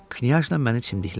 Knyazla məni çimdiklədi.